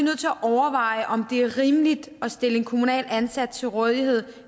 at overveje om det er rimeligt at stille en kommunalt ansat til rådighed